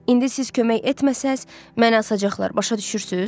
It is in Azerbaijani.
İndi siz kömək etməsəz, məni asacaqlar, başa düşürsüz?